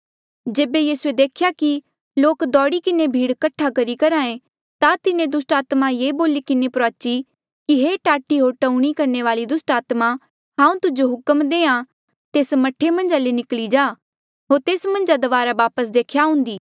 जेबे यीसूए देख्या कि लोक दौड़ी किन्हें भीड़ ल्गाया करहा ऐें ता तिन्हें दुस्टात्मा ये बोली किन्हें प्रुआची कि हे टाटी होर टऊणी करणे वाली दुस्टात्मा हांऊँ तुजो हुक्म देहां तेस मह्ठे मन्झा ले निकली जा होर तेस मन्झ दबारा वापस देख्या आउंदी